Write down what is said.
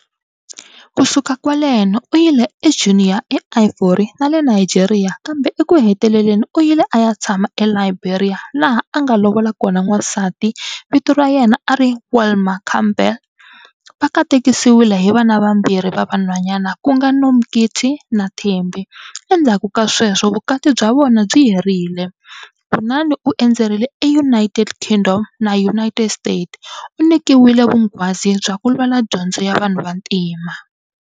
Ku suka kwaleno u yile e-Guinea e ivory nale Nigeria kambe eku hetelele u yile aya ntshama e-Liberia la ha anga lovola kona wansati vito ra yena ari Welma Campbell, va katesiwile hi vana va mbirhi va va nhwanyana ku nga Nomkhithi na Thembi endzaku ka sweswo vukati bya vona byi herile, kunani u endzerile e united-kingdom na united-state, unikiwile vungwazi bya ku lwela dyonzo ya vanhu vantima.